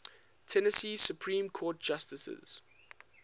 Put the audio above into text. tennessee supreme court justices